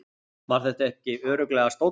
Var þetta ekki örugglega stóllinn?